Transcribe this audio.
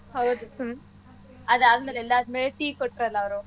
ಹೌದು ಅದಾದಮೇಲೆ ಎಲ್ಲರ್ಗೂವೇ tea ಕೊಟ್ರಲ್ಲ ಅವ್ರು.